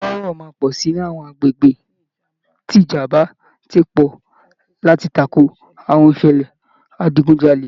Ìpáràro máa pọ̀ si ni àwọn agbègbè tí ìjàmbá ti pọ̀ láti tako àwọn ìṣẹ̀lẹ̀ ìdigunjalè